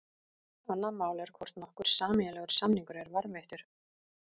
Annað mál er hvort nokkur eiginlegur samningur er varðveittur.